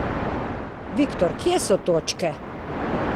Viktor, kje so točke?